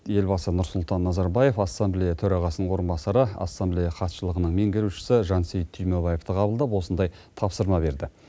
елбасы нұрсұлтан назарбаев ассамблея төрағасының орынбасары ассамблея хатшылығының меңгерушісі жансейіт түймебаевты қабылдап осындай тапсырма берді